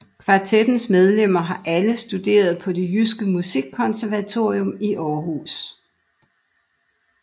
Kvartettens medlemmer har alle studeret på Det Jyske Musikkonservatorium i Aarhus